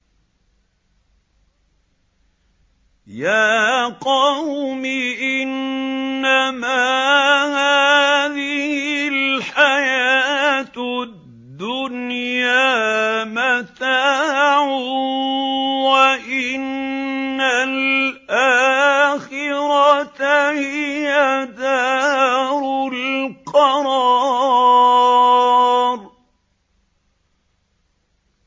يَا قَوْمِ إِنَّمَا هَٰذِهِ الْحَيَاةُ الدُّنْيَا مَتَاعٌ وَإِنَّ الْآخِرَةَ هِيَ دَارُ الْقَرَارِ